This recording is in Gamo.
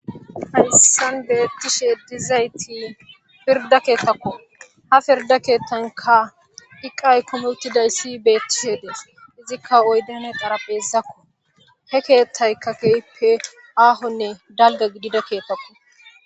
Hayssen beettishe dizayti pirda keetakko ha pirda keettanka iqay kumuutidayssi beettishedees izikka oydane xara beezakko he keethtayka keeyppe aahonne dalga gidida keetakko.